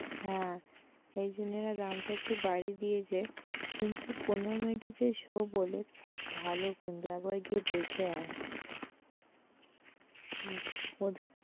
হ্যাঁ, এই জন্য না দামটা একটু বাড়িয়ে দিয়েছে কিন্তু পনেরো মিনিটের যে show বলে, খুব ভাল কিন্তু একবার গিয়ে দেখে আয়, "